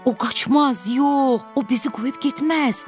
O qaçmaz, yox, o bizi qoyub getməz!